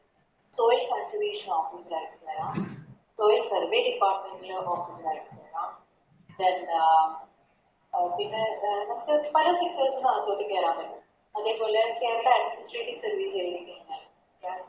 തൊഴിൽ Conservation officer ആയിട്ട് കേറാം തൊഴിൽ Survey department officer ആയിട്ട് കേറാം അഹ് പിന്നെ എ നമ്ക്ക് പല Sectors ല് അകത്തോട്ട് കേറാൻ പറ്റും അതേപോലെ Kerala administrative service